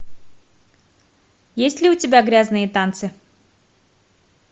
есть ли у тебя грязные танцы